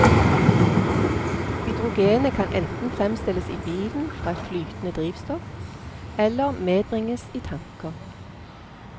Hydrogenet kan enten fremstilles i bilen fra et flytende drivstoff, eller medbringes i tanker.